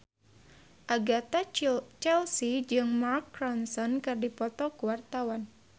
Agatha Chelsea jeung Mark Ronson keur dipoto ku wartawan